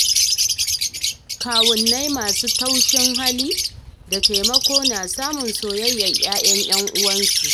Kawunnai masu taushin hali da taimako na samun soyayyar 'ya'yan 'yan uwansu.